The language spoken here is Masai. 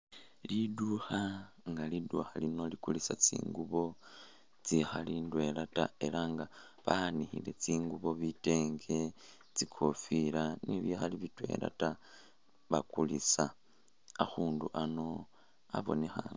Linduukha nga linduukha lino likulisa tsingubo tsikhali ndwela taa elah nga banikhile tsingubo bitenge, tsikofila ni'bikhali bitwela taa bakulisa, akhundu ano abonekha